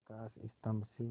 प्रकाश स्तंभ से